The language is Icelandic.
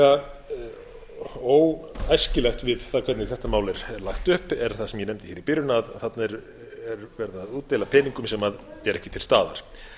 það sem er sérstaklega óæskilegt við það hvernig þetta mál er lagt upp er það sem ég nefndi í byrjun að þarna er verið að útdeila peningum sem eru ekki til staðar